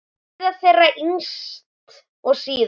Gyða þeirra yngst og síðust.